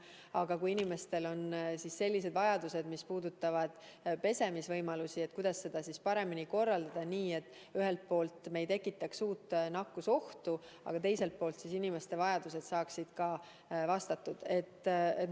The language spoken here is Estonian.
Aga kui inimestel on sellised vajadused, mis puudutavad pesemisvõimalusi, siis tõesti, kuidas seda korraldada nii, et ühelt poolt me ei tekitaks nakkusohtu juurde, aga teiselt poolt inimeste vajadused saaksid rahuldatud?